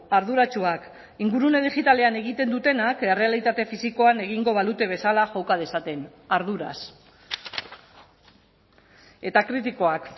arduratsuak ingurune digitalean egiten dutenak errealitate fisikoan egingo balute bezala joka dezaten arduraz eta kritikoak